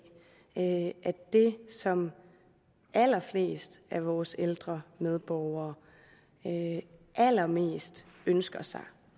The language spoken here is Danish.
at det som allerflest af vores ældre medborgere allermest ønsker sig